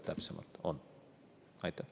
Aitäh!